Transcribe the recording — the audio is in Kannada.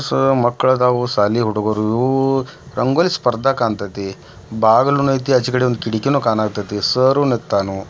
ಮಕ್ಕಳ ಅದಾವ ಇವು ರಂಗೋಲಿ ಸ್ಪರ್ಧಾ ಕಾಣತೇತಿ ಬಾಗಲ ನು ಏತಿ ಅಚಿಕದೇ ಕಿಡಕಿನು ಕಾಣತೇತಿ ಸರ್ ನಿತ್ತಾನು .